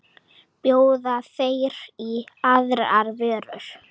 Bjóða þeir í aðrar vörur?